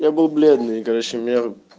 я был бледный и короче у меня